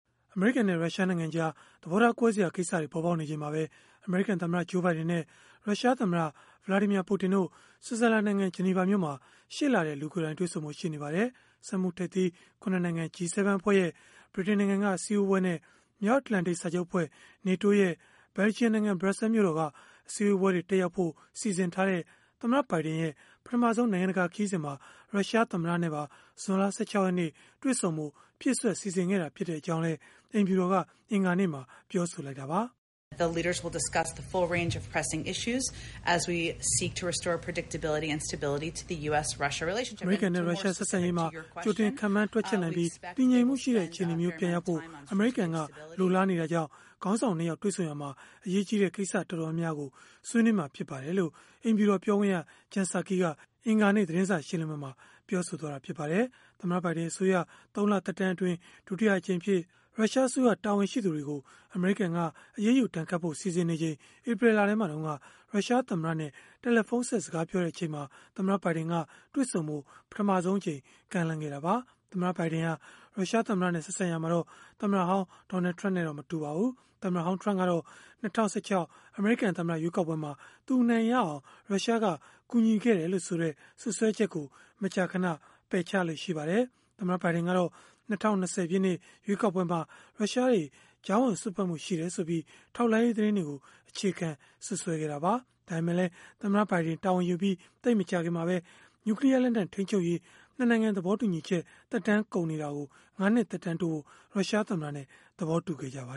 အမေရိကန်နဲ့ ရုရှားနိုင်ငံကြား သဘောထားကွဲစရာ ကိစ္စတွေ ပေါ်ပေါက်နေချိန်မှာပဲ အမေရိကန်သမ္မတ Joe Biden နဲ့ ရုရှားသမ္မတ Vladimir Putin တို့ ဆွစ်ဇာလန်နိုင်ငံ ဂျနီဗာမြို့မှာ ရှေ့လထဲ လူကိုယ်တိုင် တွေ့ဆုံဖို့ ရှိနေပါတယ်။ စက်မှုထိပ်သီး ၇ နိုင်ငံ G7 အဖွဲ့ရဲ့ ဗြိတိန်နိုင်ငံက အစည်းအဝေးနဲ့ မြောက်အတ္တလန်တိတ်စာချုပ်အဖွဲ့ (NATO) ရဲ့ ဘယ်လ်ဂျီယံနိုင်ငံ၊ ဘရပ်ဆဲလ်မြို့တော်က အစည်းအဝေးပွဲတွေ တက်ရောက်ဖို့ စီစဉ်ထားတဲ့ သမ္မတ ဘိုင်ဒင်ရဲ့ ပထမဆုံး နိုင်ငံတကာ ခရီးစဉ်မှာ ရုရှားသမ္မတနဲ့ပါ ဇွန်လ ၁၆ ရက်နေ့ တွေ့ဆုံဖို့ ဖြည့်စွက် စီစဉ်ခဲ့တာ ဖြစ်ကြောင်းလည်း အိမ်ဖြူတော်က အင်္ဂါနေ့မှာ ပြောဆိုလိုက်တာပါ။ “အမေရိကန်နဲ့ ရုရှား ဆက်ဆံရေးမှာ ကြိုတင်ခန့်မှန်း တွက်ချက်နိုင်ပြီး၊ တည်ငြိမ်မှုရှိတဲ့ အခြေအနေမျိုး ပြန်ရောက်ဖို့ အမေရိကန်က လိုလားနေတာကြောင့် ခေါင်းဆောင် ၂ ယောက် တွေ့ဆုံရာမှာ အရေးကြီးတဲ့ကိစ္စ တော်တော်များများကို ဆွေးနွေးမှာ ဖြစ်ပါတယ်။” လို့ အိမ်ဖြူတော် ပြောခွင့်ရ Jen Psaki က အင်္ဂါနေ့ သတင်းစာ ရှင်းလင်းပွဲမှာ ပြောဆိုသွားပါတယ်။ သမ္မတ ဘိုင်ဒင် အစိုးရ ၃ လ သက်တမ်းအတွင်း ဒုတိယအကြိမ်အဖြစ် ရုရှားအစိုးရ တာဝန်ရှိသူတွေကို အမေရိကန် အရေးယူဒဏ်ခတ်ဖို့ စီစဉ်နေချိန် ဧပြီလထဲမှာတုန်းက ရုရှား သမ္မတနဲ့ တယ်လီဖုန်းဆက် စကားပြောခဲ့တဲ့ အချိန်မှာ သမ္မတဘိုင်ဒင်က တွေ့ဆုံဖို့ ပထမဆုံးအကြိမ် ကမ်းလှမ်းခဲ့တာပါ။ သမ္မတဘိုင်ဒင်ဟာ ရုရှားသမ္မတနဲ့ ဆက်ဆံရာမှာတော့ သမ္မတဟောင်း Donald Trump နဲ့တော့ မတူပါဘူး။ သမ္မတဟောင်း Trump ကတော့ ၂၀၁၆ အမေရိကန်သမ္မတရွေးကောက်ပွဲမှာ သူအနိုင်ရအောင် ရုရှားက ကူညီခဲ့တယ်လို့ဆိုတဲ့ စွပ်စွဲချက်ကို မကြာခဏ ပယ်ချလေ့ရှိပါတယ်။ သမ္မတ ဘိုင်ဒင်ကတော့ ၂၀၂၀ ပြည့်နှစ် ရွေးကောက်ပွဲမှာ ရုရှားတွေ ကြားဝင်စွက်ဖက်မှု ရှိခဲ့တယ်ဆိုပြီး ထောက်လှမ်းရေး သတင်းတွေကို အခြေခံ စွပ်စွဲခဲ့တာပါ။ ဒါပေမဲ့လည်း သမ္မတဘိုင်ဒင် တာဝန်ယူပြီး သိပ်မကြာခင်မှာပဲ နျူကလီးယားလက်နက် ထိန်းချုပ်ရေး ၂ နိုင်ငံသဘောတူညီချက် သက်တမ်းကုန်နေတာကို ၅ နှစ် သက်တမ်းတိုးဖို့ ရုရှားသမ္မတနဲ့ သဘောတူခဲ့ကြပါ